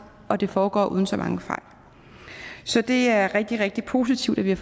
og det foregår uden så mange fejl så det er rigtig rigtig positivt at vi